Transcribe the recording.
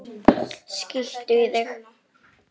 Það nægir ekki.